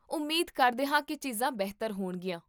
ਉਮੀਦ ਕਰਦੇ ਹਾਂ ਕੀ ਚੀਜ਼ਾਂ ਬਿਹਤਰ ਹੋਣਗੀਆਂ